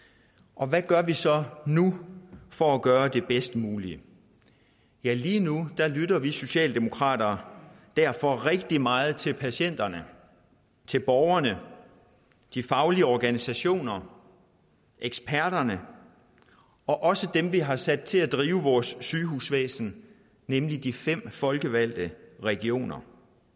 og hvad gør vi så nu for at gøre det bedst mulige ja lige nu lytter vi socialdemokrater derfor rigtig meget til patienterne til borgerne de faglige organisationer eksperterne og også dem vi har sat til at drive vores sygehusvæsen nemlig de fem folkevalgte regioner